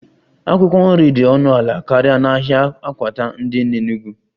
Akwụkwọ nri dị ọnụ ala karịa n'ahịa akwata dị n'Enugwu